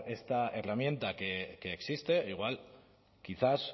esta herramienta que existe igual quizás